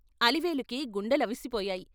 అలివేలుకి గుండెలవిసిపోయాయి.